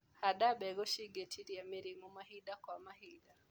Handa mbegũ cingĩtiria mĩrimũ mahinda kwa mahinda.